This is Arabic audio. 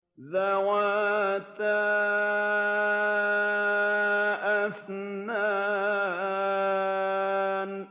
ذَوَاتَا أَفْنَانٍ